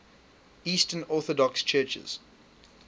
eastern orthodox churches